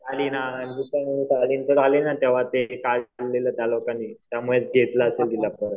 शालीन हां तेंव्हा ते त्यामुळे त्यामुळे घेतल असेल तिला परत